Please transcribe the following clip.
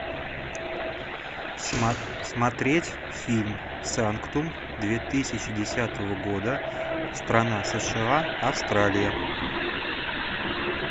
смотреть фильм санктум две тысячи десятого года страна сша австралия